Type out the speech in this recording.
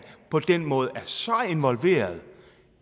på den måde er så involveret